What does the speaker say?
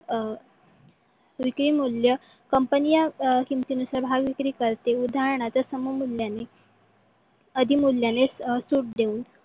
अं विक्री मूल्य company किमतीनुसार भाग विक्री करते. उदाहरणात सम मूल्यांनी अधि मूल्याने सूट देऊन